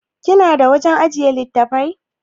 Kina da wajan ajjiye littattafai?